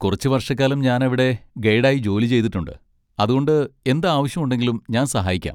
കുറച്ച് വർഷക്കാലം ഞാനവിടെ ഗൈഡ് ആയി ജോലി ചെയ്തിട്ടുണ്ട്, അതുകൊണ്ട് എന്ത് ആവശ്യം ഉണ്ടെങ്കിലും ഞാൻ സഹായിക്കാം.